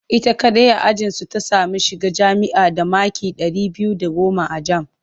Ita kaɗai a ajinsu ta sami shiga jami'a da maki ɗari biyu da goma a jam